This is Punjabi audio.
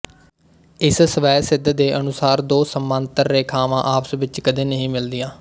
ਇਸ ਸਵੈਸਿੱਧ ਦੇ ਅਨੁਸਾਰ ਦੋ ਸਮਾਂਤਰ ਰੇਖਾਵਾਂ ਆਪਸ ਵਿੱਚ ਕਦੇ ਨਹੀਂ ਮਿਲਦੀਆਂ